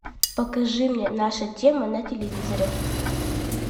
покажи мне наша тема на телевизоре